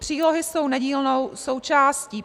Přílohy jsou nedílnou součástí.